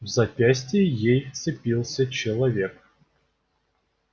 в запястье ей вцепился человек